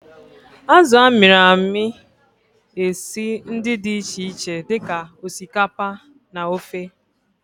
Azụ a mịrị amị esi ndi di iche iche di ka osikapa na ofe.